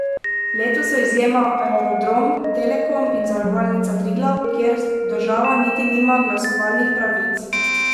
Letos so izjema Aerodrom, Telekom in Zavarovalnica Triglav, kjer država niti nima glasovalnih pravic.